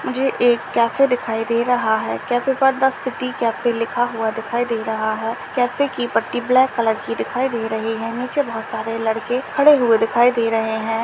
मुझे एक कैफे दिखाई दे रहा है कैफे पर द सिटी कैफ़े लिखा हुआ दिखाई दे रहा है कैफे की पट्टी ब्लैक कलर की दिखाई दे रही है नीचे बहुत सारे लड़के खड़े हुए दिखाई दे रहे है।